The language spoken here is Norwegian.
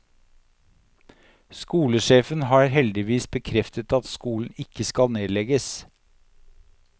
Skolesjefen har heldigvis bekreftet at skolen ikke skal nedlegges.